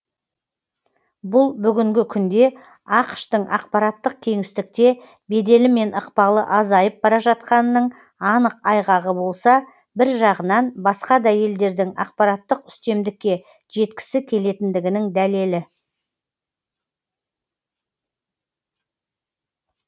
бұл бүгінгі күнде ақш тың ақпараттық кеңістікте беделі мен ықпалы азайып бара жатқанының анық айғағы болса бір жағынан басқа да елдердің ақпараттық үстемдікке жеткісі келетіндігінің дәлелі